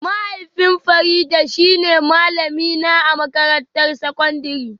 Mahaifin Farida shine malamina a makarantar sakandare